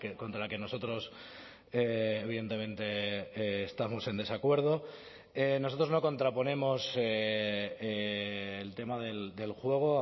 contra la que nosotros evidentemente estamos en desacuerdo nosotros no contraponemos el tema del juego